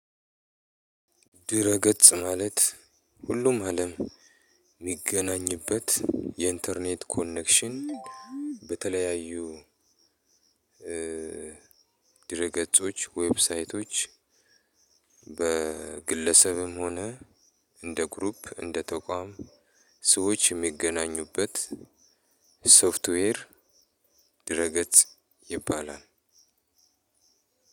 ድረ ገጽ ማለት ሁሉም አለም የሚገናኝበት የኢንተርኔት ኮኔክሽን። በተለያዩ ድረ ገጾች ዌብሳይቶች በግለሰብም ሆነ እንደ ግሩፕ እንደ ተቋም ሰወች የሚገናኙበት ሶፍትዌር። ድረ ገጽ ይባላል።